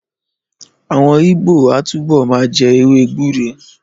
Àwọn Ìgbó á túbọ̀ ma jẹ́ èwe gbúre.